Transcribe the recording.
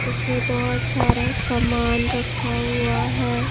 इसमें बहुत सारा सामान रखा हुआ है।